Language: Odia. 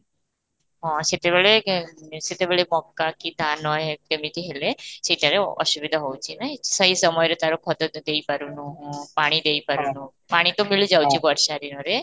ହଁ, ସେତେବେଳେ ଏଁ ସେତେବେଳେ ମକା କି ଧାନ ଏ କେମିତି ହେଲେ, ସେଇଟାରେ ଅସୁବିଧା ହେଉଛି ନାଇ, ସେଇ ସମୟରେ ତା'ର ଖତ ତ ଦେଇ ପାରୁନୁ ପାଣି ଦେଇ ପାରୁନୁ ପାଣି ତ ମିଳି ଯାଉଛି ବର୍ଷା ଦିନରେ